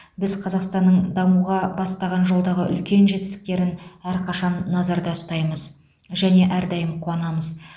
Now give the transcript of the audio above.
біз қазақстанның дамуға бастаған жолдағы үлкен жетістіктерін әрқашан назарда ұстаймыз және әрдайым қуанамыз